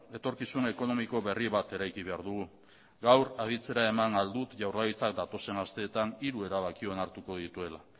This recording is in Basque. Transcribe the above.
etorkizun ekonomiko berri bat eraiki behar dugu gaur aditzera eman ahal dut jaurlaritzak datozen asteetan hiru erabaki onartuko dituela